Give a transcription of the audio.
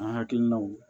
An hakilinaw